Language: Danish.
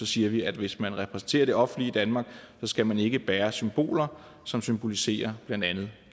siger at hvis man repræsenterer det offentlige danmark skal man ikke bære symboler som symboliserer blandt andet